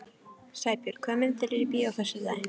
Sæbjörn, hvaða myndir eru í bíó á föstudaginn?